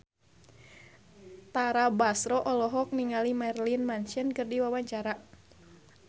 Tara Basro olohok ningali Marilyn Manson keur diwawancara